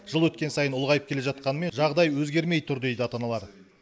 жыл өткен сайын ұлғайып келе жатқанымен жағдай өзгермей тұр дейді ата аналар